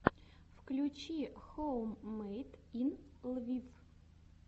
включи хоуммэйд ин лвив